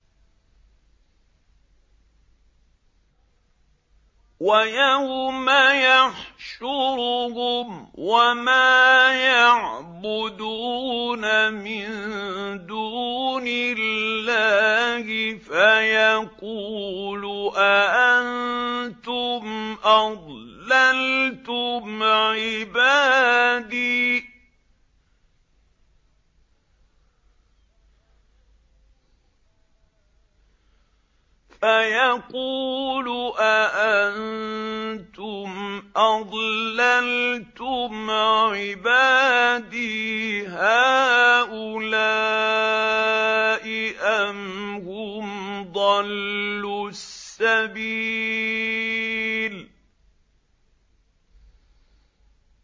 وَيَوْمَ يَحْشُرُهُمْ وَمَا يَعْبُدُونَ مِن دُونِ اللَّهِ فَيَقُولُ أَأَنتُمْ أَضْلَلْتُمْ عِبَادِي هَٰؤُلَاءِ أَمْ هُمْ ضَلُّوا السَّبِيلَ